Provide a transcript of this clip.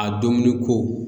A dominikow